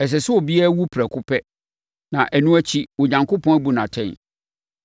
Ɛsɛ sɛ obiara wu prɛko pɛ, na ɛno akyi Onyankopɔn abu no atɛn.